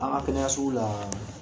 An ka fɛnɛ ka sugu la